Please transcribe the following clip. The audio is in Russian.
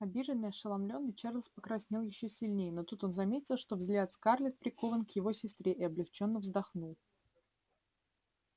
обиженный ошеломлённый чарлз покраснел ещё сильнее но тут он заметил что взгляд скарлетт прикован к его сестре и облегчённо вздохнул